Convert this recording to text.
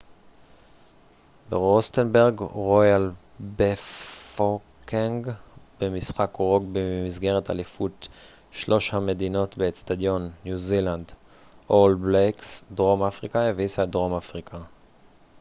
דרום אפריקה הביסה את all blacks ניו זילנד במשחק רוגבי במסגרת אליפות שלוש המדינות באצטדיון royal bafokeng ברוסטנברג דרום אפריקה